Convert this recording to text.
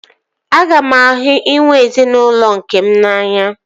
Aga m ahụ inwe ezinaụlọ nkem n'anya